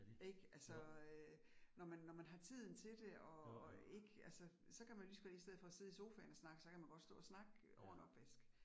Ik altså øh når man når man har tiden til det og og ik altså, så kan man ligeså godt i stedet for at sidde i sofaen og snakke, så kan man godt stå og snakke over en opvask